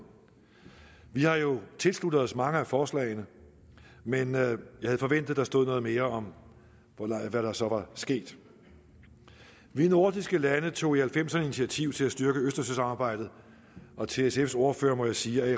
vi har jo tilsluttet os mange af forslagene men jeg havde forventet der stod noget mere om hvad der så var sket vi nordiske lande tog i nitten halvfemserne initiativ til at styrke østersøsamarbejdet og til sfs ordfører må jeg sige at